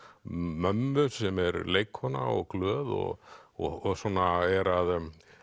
mömmu sem er leikkona og glöð og og svona er að